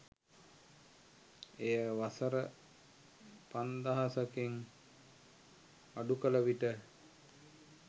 එය වසර පන්දහසකින් අඩු කළ විට